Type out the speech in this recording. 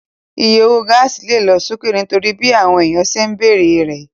Iye owó gáàsì lè lọ sókè nítorí bí àwọn èèyàn ṣe ń bere rẹ̀